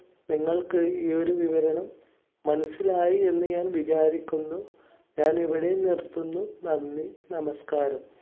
നിങ്ങൾക്ക് ഈയൊരു വിവരണം മനസ്സിലായി എന്ന് ഞാൻ വിചാരിക്കുന്നു. ഞാൻ ഇവിടെ നിർത്തുന്നു നന്ദി, നമസ്കാരം.